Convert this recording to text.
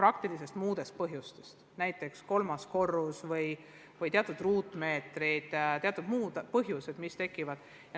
Näiteks võib tegu olla kolmanda korrusega või teatud arvu ruutmeetritega – sellised põhjused võivad tekkida.